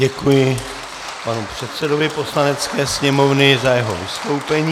Děkuji panu předsedovi Poslanecké sněmovny za jeho vystoupení.